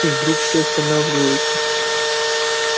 и вдруг все останавливаются